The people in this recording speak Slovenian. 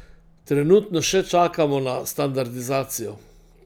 Trenutno še čakamo na standardizacijo.